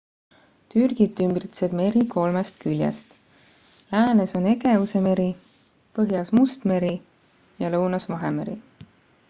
türgit ümbritseb meri kolmest küljest läänes on egeuse meri põhjas must meri ja lõunas vahemeri